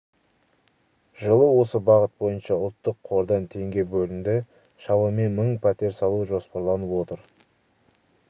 жылы осы бағыт бойынша ұлттық қордан теңге бөлінді шамамен мың пәтер салу жоспарланып отыр